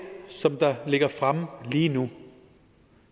som der ligger fremme lige nu